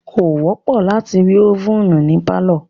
Kò wọ́pọ̀ láti rí ovèn ní pálọ̀.